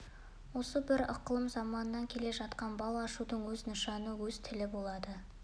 осы бір ықылым заманнан келе жатқан бал ашудың өз нышаны өз тілі болады